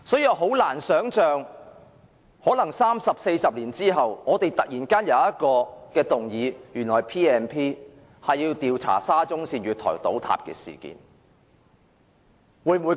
我難以想象三四十年後，我們要引用《條例》動議議案，調查沙中線月台倒塌事件。